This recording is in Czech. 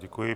Děkuji.